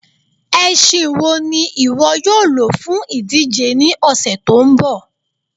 Ẹ̀ṣìn wọ́ ni iwọ yóò ló fún idíjè ní ọṣẹ tó nbọ?